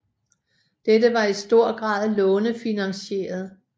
Dette var i stor grad lånefinansieret